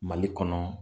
Mali kɔnɔ